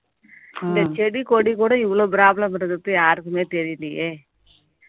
இந்த செடி, கொடி கூட இவ்வளவு problem ன்றது யாருக்குமே தெரியலையே